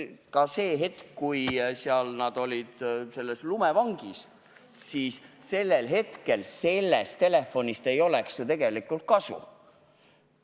Ka siis, kui inimesed olid seal lumevangis, poleks sellest telefonist tegelikult kasu olnud.